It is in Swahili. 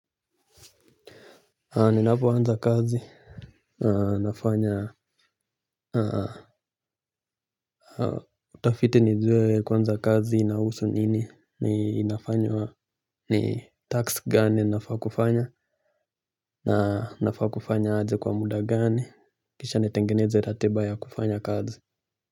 Ninapoanza kazi, nafanya utafiti nijue kwanza kazi inahusu nini. Ni task gani ninafaa kufanya na nafaa kufanya aje? Kwa muda gani? Kisha nitengeneze ratiba ya kufanya kazi.